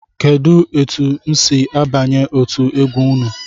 Kedu etụ m si abanye otú egwu ụnụ?